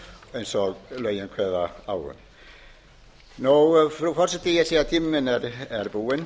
eins og lögin kveða á um frú forseti ég sé að tími minn er búinn